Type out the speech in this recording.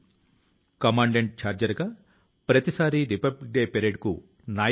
మహాత్మ గాంధీ వ్యాసాల ను చదివి తాను స్ఫూర్తి ని పొందినట్లు ఆయన చెప్తారు